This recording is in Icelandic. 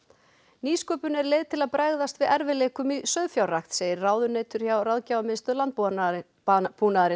nýsköpun er leið til að bregðast við erfiðleikum í sauðfjárrækt segir ráðunautur hjá Ráðgjafarmiðstöð landbúnaðarins landbúnaðarins